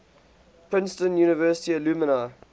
princeton university alumni